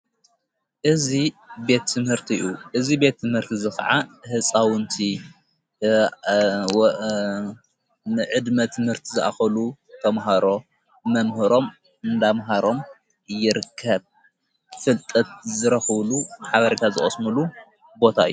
እዝ ቤቲ ምህርት እዩ። እዙ ቤት ምህርቲ ዘኸዓ ሕፃውንቲ ንዕድሜት ምህርቲ ዝኣኸሉ ተምሃሮ መምህሮም እንዳምሃሮም ይርከብ። ፍልጠት ዘረኽብሉ ሓበሪካ ዘቐስምሉ ቦታ እዩ።